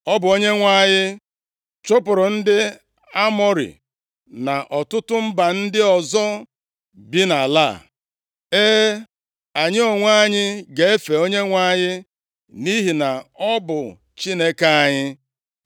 Ọ bụ Onyenwe anyị chụpụrụ ndị Amọrị na ọtụtụ mba ndị ọzọ bi nʼala a. E, anyị onwe anyị ga-efe Onyenwe anyị, nʼihi na ọ bụ Chineke anyị.”